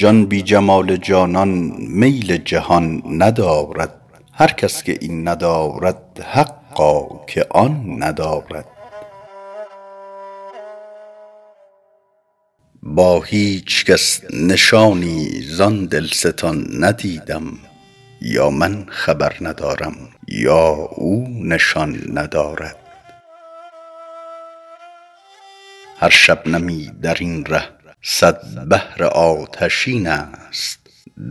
جان بی جمال جانان میل جهان ندارد هر کس که این ندارد حقا که آن ندارد با هیچ کس نشانی زان دلستان ندیدم یا من خبر ندارم یا او نشان ندارد هر شبنمی در این ره صد بحر آتشین است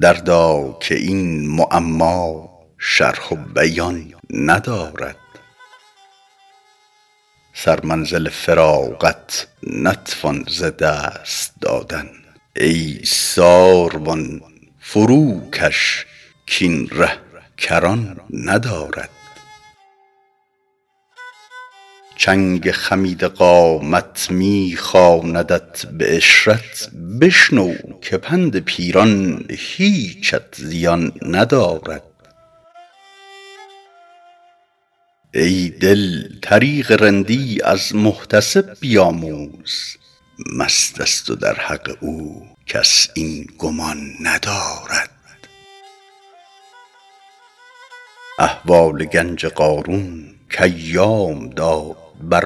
دردا که این معما شرح و بیان ندارد سرمنزل فراغت نتوان ز دست دادن ای ساروان فروکش کاین ره کران ندارد چنگ خمیده قامت می خواندت به عشرت بشنو که پند پیران هیچت زیان ندارد ای دل طریق رندی از محتسب بیاموز مست است و در حق او کس این گمان ندارد احوال گنج قارون کایام داد بر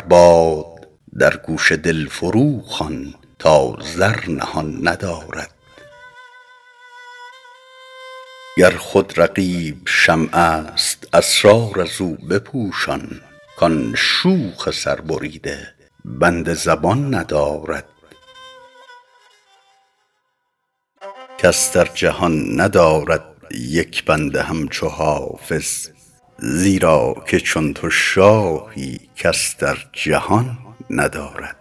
باد در گوش دل فروخوان تا زر نهان ندارد گر خود رقیب شمع است اسرار از او بپوشان کان شوخ سربریده بند زبان ندارد کس در جهان ندارد یک بنده همچو حافظ زیرا که چون تو شاهی کس در جهان ندارد